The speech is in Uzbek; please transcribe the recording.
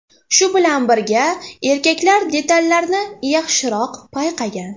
Shu bilan birga, erkaklar detallarni yaxshiroq payqagan.